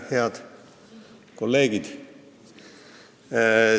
Head kolleegid!